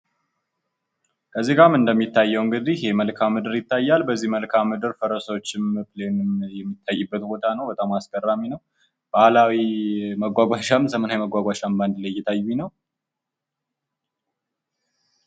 እዚህ ጋር እንደሚታየዉ እንግዲህ የመልካ ምድር ይታያል። በዚህ መልካ ምድር ፈረሶችም ፕሌንም የሚታይበት ቦታ ነዉ ። በጣም አስገራሚ ነዉ። ባህላዊ መጓጓዣም ዘመናዊ መጓጓዣም በአንድ ላይ እየታዩኝ ነዉ።